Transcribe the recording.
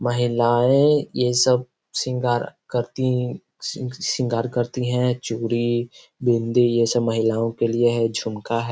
महिलाएं ये सब सिंगार करती सिंगार करती है चूड़ी बिंदी ये सब महिलाओं के लिए है झुमका है।